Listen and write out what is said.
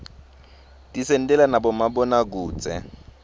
tisentela nabomabonakudze